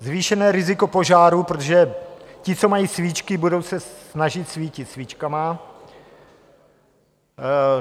Zvýšené riziko požárů, protože ti, co mají svíčky, budou se snažit svítit svíčkami.